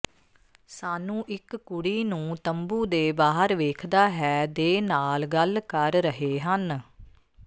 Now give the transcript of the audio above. ਸਾਨੂੰ ਇੱਕ ਕੁੜੀ ਨੂੰ ਤੰਬੂ ਦੇ ਬਾਹਰ ਵੇਖਦਾ ਹੈ ਦੇ ਨਾਲ ਗੱਲ ਕਰ ਰਹੇ ਹਨ